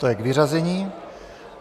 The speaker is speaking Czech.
To je k vyřazení.